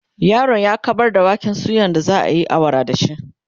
yaron ya kaɓar da waken suyan da zaayi awara da shi